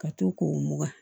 Ka to k'o mugu